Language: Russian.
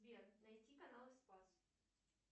сбер найти канал спас